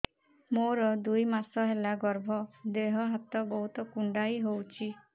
ମୋର ଦୁଇ ମାସ ହେଲା ଗର୍ଭ ଦେହ ହାତ ବହୁତ କୁଣ୍ଡାଇ ହଉଚି